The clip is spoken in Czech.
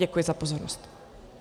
Děkuji za pozornost.